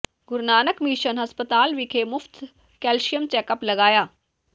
ਗੁਰੂ Nanak mission ਹਸਪਤਾਲ ਵਿਖੇ ਮੁਫ਼ਤ ਕੈਲਸ਼ੀਅਮ ਚੈੱਕਅਪ ਲਗਾਇਆ